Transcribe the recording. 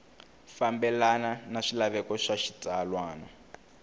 fambelana na swilaveko swa xitsalwana